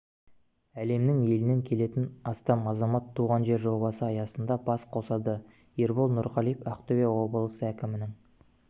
әлемнің елінен келетін астам азамат туған жер жобасы аясында бас қосады ербол нұрғалиев ақтөбе облысы әкімінің